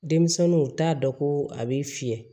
Denmisɛnninw u t'a dɔn ko a bɛ fiyɛ